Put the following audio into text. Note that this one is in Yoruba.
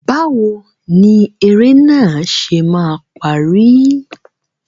Báwo ni eré náà ṣe máa parí?